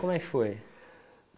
Como é que foi?